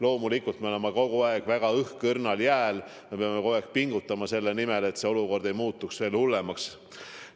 Loomulikult me oleme kogu aeg väga õhkõrnal jääl ja peame kogu aeg pingutama selle nimel, et olukord ei muutuks hullemaks.